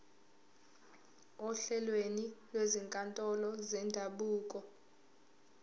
ohlelweni lwezinkantolo zendabuko